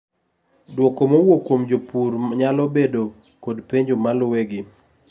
duoko mowuok kuom jopur nyalo bedo kod penjo malue gi